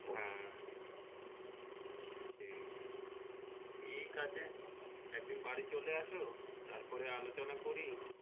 হ্যাঁ সেই ঠিক আছে একদিন বাড়ি চলে আসো তার পরে আলোচনা করি।